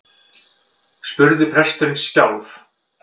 spurði presturinn skjálf